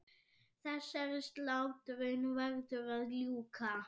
Þessari slátrun verður að ljúka.